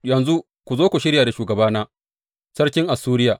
Yanzu, ka zo ku shirya da shugabana, sarkin Assuriya.